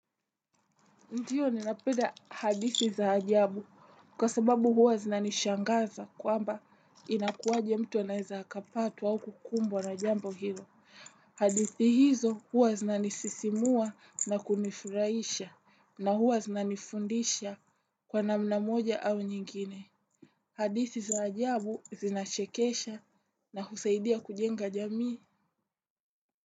Ndiyo ninapeda hadithi za ajabu kwa sababu huwa zinanishangaza kwamba inakuwaje mtu anaeza hakapatwa au kukumbwa na jambo hilo. Hadithi hizo huwa zinanisisimua na kunifuraisha na huwa zinanifundisha kwa namna moja au nyingine. Hadithi za ajabu zinachekesha na husaidia kujenga jamii.